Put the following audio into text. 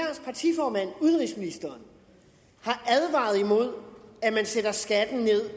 at udenrigsministeren har advaret imod at man sætter skatten ned